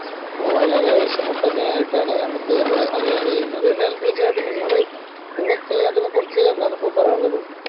വളരെ വിഷമം തന്നെ ആയിട്ടാണ്നമ്മക്ക് ഇവിടെ അറിയാൻ കഴിയുന്നത് എന്തായാലും തീർച്ചയായിട്ടും നിങ്ങള് നിങ്ങക്ക് അതിനെ കുറിച്ച് എന്താണ് ഇപ്പൊ പറയാനിള്ളത്